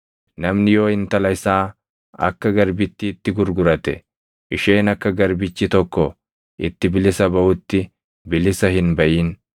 “Namni yoo intala isaa akka garbittiitti gurgurate, isheen akka garbichi tokko itti bilisa baʼutti bilisa hin baʼin.